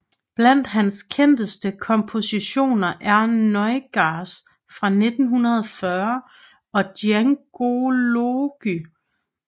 Blandt hans kendteste kompositioner er Nuages fra 1940 og Djangology